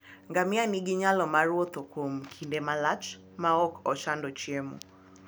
Ngamia nigi nyalo mar wuotho kuom kinde malach maok ochando chiemo.